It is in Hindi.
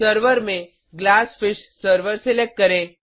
सर्वर में ग्लासफिश सर्वर सलेक्ट करें